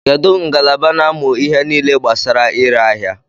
Kedu ngalaba na-amụ ihe nile gbasara ire aḥia?